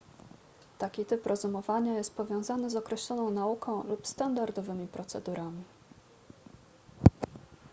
taki typ rozumowania jest powiązany z określoną nauką lub standardowymi procedurami